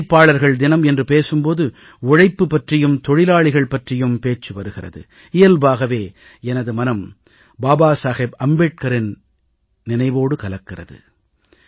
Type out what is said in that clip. உழைப்பாளர்கள் தினம் என்று பேசும் போது உழைப்பு பற்றியும் தொழிலாளிகள் பற்றியும் பேச்சு வருகிறது இயல்பாகவே எனக்கு பாபா சாஹேப் அம்பேத்கரின் நினைவும் கூடவே வருகிறது